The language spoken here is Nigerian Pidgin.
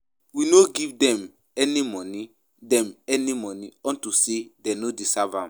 We no go give dem any money dem any money unto say dey no deserve am